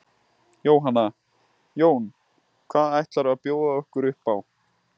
Jóhanna: Jón, hvað ætlarðu að bjóða okkur upp á?